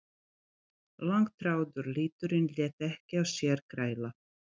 Langþráður liturinn lét ekki á sér kræla.